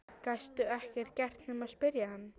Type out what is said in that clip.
Gastu ekkert gert nema spyrja hann?